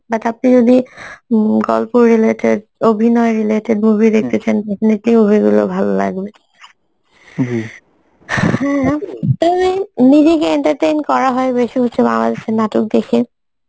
but আপনি যদি um গল্প related, অভিনয় related movie চান definitely movie গুলো ভাল লাগবে তবে নিজেকে entertain করা হয় বেসি হচ্ছে বাংলাদেশের নাটক দেখে